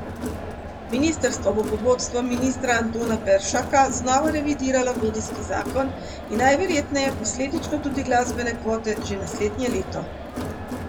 Ministrstvo bo pod vodstvom ministra Antona Peršaka znova revidiralo medijski zakon in najverjetneje posledično tudi glasbene kvote že naslednje leto.